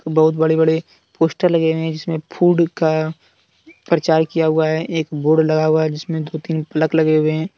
बहुत बड़े बड़े पोस्टर लगे हैं जिसमें फूड का परचार किया हुआ है एक बोर्ड लगा हुआ है जिसमें दो तीन प्लग लगे हुए हैं।